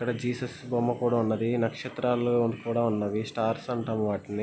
ఇక్కడ జీసస్ బొమ్మ కూడా ఉన్నది. నక్షత్రాలు కూడా ఉన్నవి. స్టార్స్ అంటాం వాటిని--